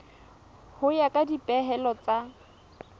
ho ya ka dipehelo tsa